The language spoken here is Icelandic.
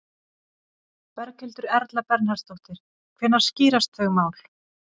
Berghildur Erla Bernharðsdóttir: Hvenær skýrast þau mál?